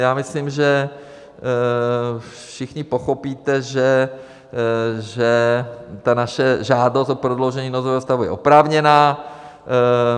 Já myslím, že všichni pochopíte, že ta naše žádost o prodloužení nouzového stavu je oprávněná.